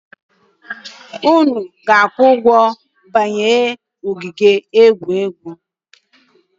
Unu a ga-akwụ ụgwọ banye ogige egwuregwu?